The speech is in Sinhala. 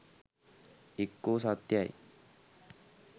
එක්කෝ සත්‍යයි